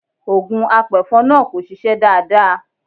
Ògùn apẹ̀fọn náà kò ṣiṣẹ́ dáadáa.